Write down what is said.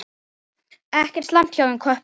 Ekki slæmt hjá þeim köppum.